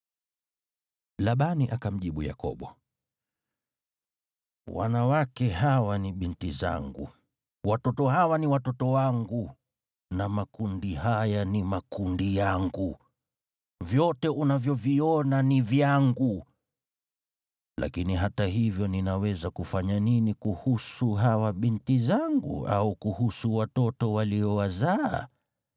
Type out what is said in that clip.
Labani akamjibu Yakobo, “Wanawake hawa ni binti zangu, watoto hawa ni watoto wangu na makundi haya ni makundi yangu. Vyote unavyoviona ni vyangu. Lakini hata hivyo ninaweza kufanya nini kuhusu hawa binti zangu, au kuhusu watoto waliowazaa?